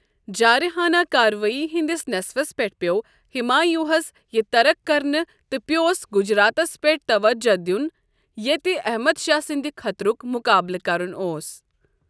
جٲرِحانہٕ کارٕوٲیی ہٕنٛدِس نیصفس پیٹھ پیوٚو ہمایونٛہس یہِ ترک کرٕنہِ تہٕ پِیوس گجراتس پیٹھ توجہہ دین ییٚتہ احمد شاہ سندِ خطرُک مُقابلہٕ كرن اوس ۔